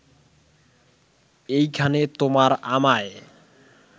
এইখানে তোমার আমায়